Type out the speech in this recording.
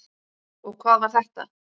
Og hvað var þetta?